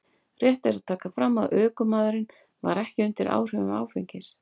Rétt er að taka fram að ökumaðurinn var ekki undir áhrifum áfengis.